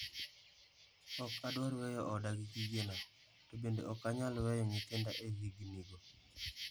Ok adwar weyo oda gi gigena, to bende ok anyal weyo nyithinda e higinigo.